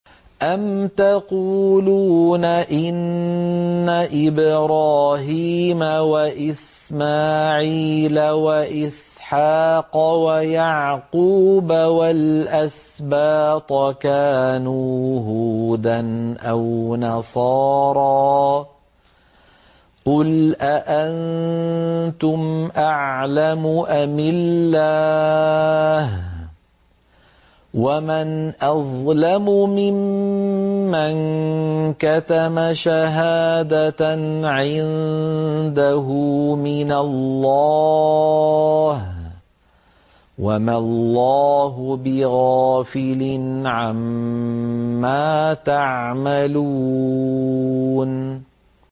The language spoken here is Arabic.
أَمْ تَقُولُونَ إِنَّ إِبْرَاهِيمَ وَإِسْمَاعِيلَ وَإِسْحَاقَ وَيَعْقُوبَ وَالْأَسْبَاطَ كَانُوا هُودًا أَوْ نَصَارَىٰ ۗ قُلْ أَأَنتُمْ أَعْلَمُ أَمِ اللَّهُ ۗ وَمَنْ أَظْلَمُ مِمَّن كَتَمَ شَهَادَةً عِندَهُ مِنَ اللَّهِ ۗ وَمَا اللَّهُ بِغَافِلٍ عَمَّا تَعْمَلُونَ